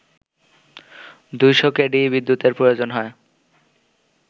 ২শ KV বিদ্যুতের প্রয়োজন হয়